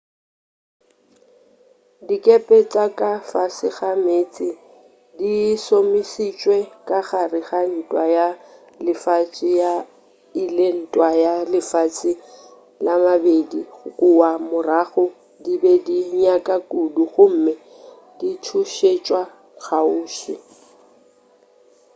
dikepe tša ka fase ga meetse di šomišitšwe ka gare ga ntwa ya lefase ya i le ntwa ya lefase ya ii kua morago di be di nanya kudu gomme di thuntšetša kgauswi